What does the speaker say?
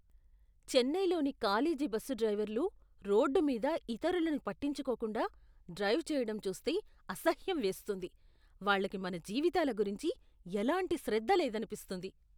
చెన్నైలోని college bus డ్రైవర్లు road మీద ఇతరులని పట్టించుకోకుండా డ్రైవ్ చేయడం చూస్తే అసహ్యం వేస్తుంది. వాళ్ళకి మన జీవితాల గురించి ఎలాంటి శ్రద్ధ లేదనిపిస్తుంది.